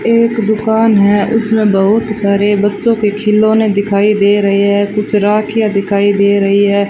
एक दुकान है उसमें बहुत सारे बच्चों के खिलौने दिखाई दे रहे है कुछ राखियां दिखाई दे रही है।